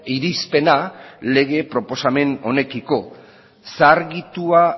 irizpena lege proposamen honekiko zaharkitua